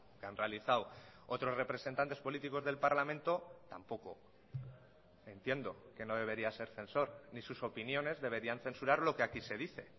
que han realizado otros representantes políticos del parlamento tampoco entiendo que no debería ser censor ni sus opiniones deberían censurar lo que aquí se dice